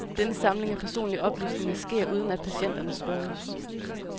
Denne samling af personlige oplysninger sker uden at patienterne spørges.